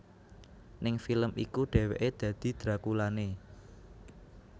Ning film iku dheweké dadi drakulané